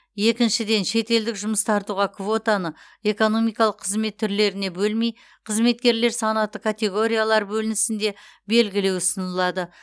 екіншіден шетелдік жұмыс тартуға квотаны экономикалық қызмет түрлеріне бөлмей қызметкерлер санаты категориялар бөлінісінде бегілеу ұсынылады